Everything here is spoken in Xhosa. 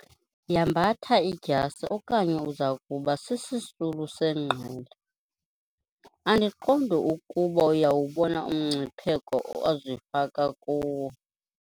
Yambatha idyasi okanye uza kuba sisisulu sengqele. andiqondi ukuba uyawubona umngcipheko ozifaka kuwo